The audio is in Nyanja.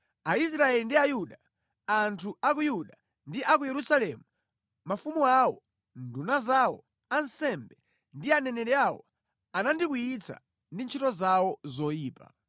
Aisraeli ndi Ayuda, anthu a ku Yuda ndi a ku Yerusalemu, mafumu awo, nduna zawo, ansembe ndi aneneri awo anandikwiyitsa ndi ntchito zawo zoyipa.